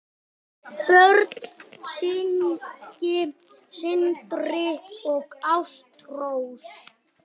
Börn: Signý, Sindri og Ástrós.